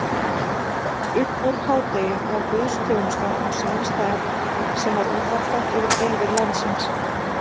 Uppúr hádegi var guðsþjónusta á sama stað sem var útvarpað yfir byggðir landsins.